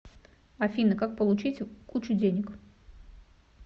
афина как получить кучу денег